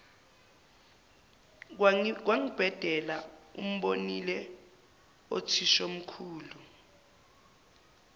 kwangibhedela umbonile uthishomkhulu